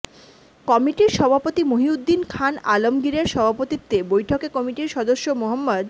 কমিটির সভাপতি মহীউদ্দীন খান আলমগীরের সভাপতিত্বে বৈঠকে কমিটির সদস্য মো